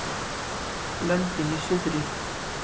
Löndin í suðri.